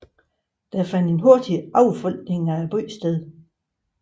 Der fandt en hurtig affolkning af byen sted